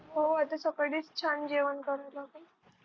हो आता सकाळी छान जेवण कडून